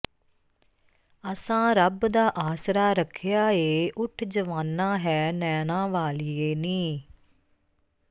ਅਸਾਂ ਰੱਬ ਦਾ ਆਸਰਾ ਰੱਖਿਆ ਏ ਉੱਠ ਜਵਾਨਾਂ ਹੈ ਨੈਣਾਂ ਵਾਲੀਏ ਨੀ